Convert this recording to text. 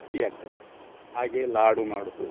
ಗಟ್ಟಿ ಅಗ್ತದೆ ಹಾಗೆ ಲಾಡು ಮಾಡುದು.